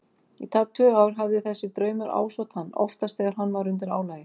Í tæp tvö ár hafði þessi draumur ásótt hann- oftast þegar hann var undir álagi.